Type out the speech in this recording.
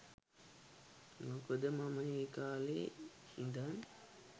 මොකද මම ඒ කාලෙ ඉදන්